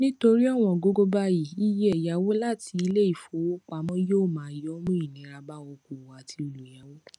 nítorí ọwọn gógó báyìí iye ẹyáwó láti iléìfowópamọ yóò wọn yóò mú ìnira bá okòwò àti olùyawo